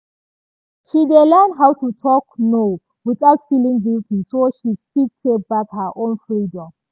she dey learn how to talk "no" without feel guilty so she fit take back her own freedom